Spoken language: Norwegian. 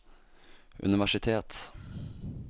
universitet